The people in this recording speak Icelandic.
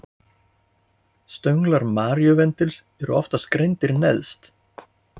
stönglar maríuvendlings eru oftast greindir neðst